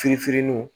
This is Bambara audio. Firfirininun